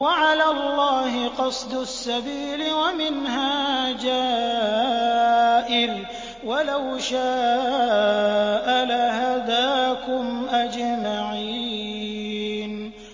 وَعَلَى اللَّهِ قَصْدُ السَّبِيلِ وَمِنْهَا جَائِرٌ ۚ وَلَوْ شَاءَ لَهَدَاكُمْ أَجْمَعِينَ